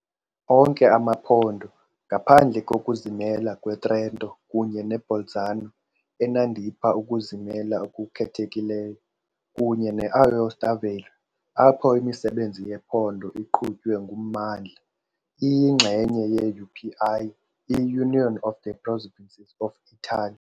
Onke amaphondo, ngaphandle kokuzimela kweTrento kunye neBolzano, enandipha ukuzimela okukhethekileyo, kunye ne-Aosta Valle, apho imisebenzi yephondo iqhutywe nguMmandla, iyingxenye ye-UPI, i-Union of the Provinces of Italy.